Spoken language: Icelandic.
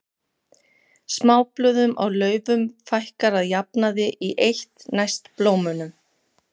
Smáblöðum á laufum fækkar að jafnaði í eitt næst blómunum.